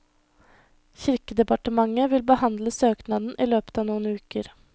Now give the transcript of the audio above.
Kirkedepartementet vil behandle søknaden i løpet av noen uker.